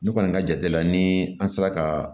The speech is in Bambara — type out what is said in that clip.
Ne kɔni ka jate la ni an sera ka